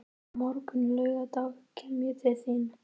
Á morgun, laugardag, kem ég til þín.